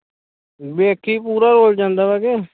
ਵੇਖੀਂ ਪੂਰਾ ਹੋ ਜਾਂਦਾ ਵੇ ਕਿ